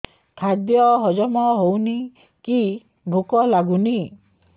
ଖାଦ୍ୟ ହଜମ ହଉନି କି ଭୋକ ଲାଗୁନି